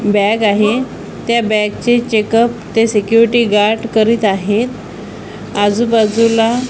bag आहे त्या bag चे चेकअप ते सिक्युरिटी गार्ड करीत आहेत आजूबाजूला --